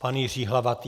Pan Jiří Hlavatý.